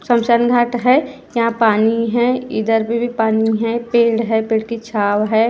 शमशान घाट है यहां पानी है इधर पे भी पानी है पेड़ है पेड़ की छाव है।